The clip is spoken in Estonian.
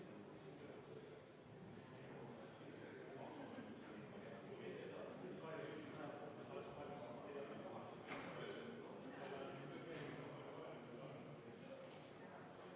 Head kolleegid, panen hääletusele 17. muudatusettepaneku, esitatud põhiseaduskomisjoni poolt ja juhtivkomisjon on arvestanud täielikult.